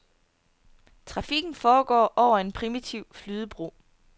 Trafikken foregår over en primitiv flydebro.